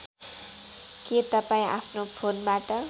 के तपाईँ आफ्नो फोनबाट